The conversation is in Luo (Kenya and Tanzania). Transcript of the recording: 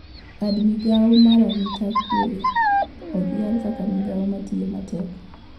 Bad migao mar arita kwe odhial kaka migao matiyo matek